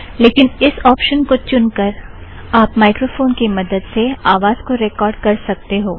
लेकिन इस ऑप्शन को चुनकर आप माइक्रोफ़ोन की मदद से आवाज़ को रेकॉर्ड़ कर सकते हो